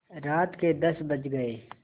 रात के दस बज गये